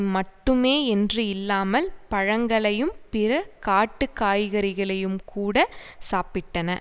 மட்டுமே என்று இல்லாமல் பழங்களையும் பிற காட்டு காய்கறிகளையும் கூட சாப்பிட்டன